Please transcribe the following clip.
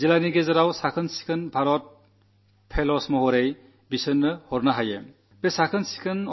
ജില്ലകളിൽ സ്വച്ഛഭാരത് ഫെലോകളായി അവരെ അയയ്ക്കാവുന്നതാണ്